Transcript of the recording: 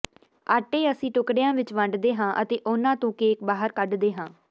ਆਟੇ ਅਸੀਂ ਟੁਕੜਿਆਂ ਵਿੱਚ ਵੰਡਦੇ ਹਾਂ ਅਤੇ ਉਹਨਾਂ ਤੋਂ ਕੇਕ ਬਾਹਰ ਕੱਢਦੇ ਹਾਂ